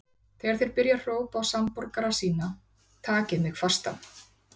Þegar þeir byrja að hrópa á samborgara sína: Takið mig fastan!